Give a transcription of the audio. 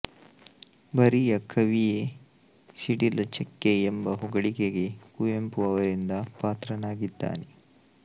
ಬರಿಯ ಕವಿಯೆ ಸಿಡಿಲ ಚಕ್ಕೆ ಎಂಬ ಹೊಗಳಿಕೆಗೆ ಕುವೆಂಪು ಅವರಿಂದ ಪಾತ್ರನಾಗಿದ್ದಾನೆ